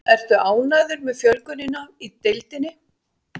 Ertu ánægður með fjölgunina í deildinni?